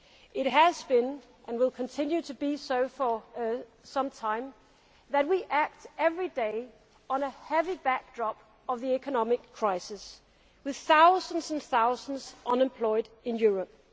It has been the case, and will continue to be so for some time, that we act every day against a heavy backdrop of the economic crisis, with thousands and thousands unemployed in Europe.